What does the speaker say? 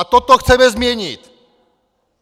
A toto chceme změnit!